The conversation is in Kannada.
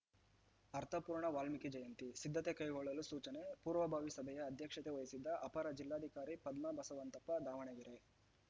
ಅರ್ಥಪೂರ್ಣ ವಾಲ್ಮೀಕಿ ಜಯಂತಿ ಸಿದ್ದತೆ ಕೈಗೊಳ್ಳಲು ಸೂಚನೆ ಪೂರ್ವಭಾವಿ ಸಭೆಯ ಅಧ್ಯಕ್ಷತೆ ವಹಿಸಿದ್ದ ಅಪರ ಜಿಲ್ಲಾಧಿಕಾರಿ ಪದ್ಮಾ ಬಸವಂತಪ್ಪ ದಾವಣಗೆರೆ